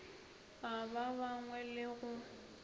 a ba bangwe le go